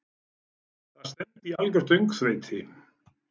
Það stefndi í algjört öngþveiti.